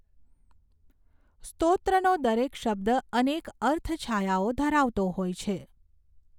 સ્તોત્રનો દરેક શબ્દ અનેક અર્થછાયાઓ ધરાવતો હોય છે.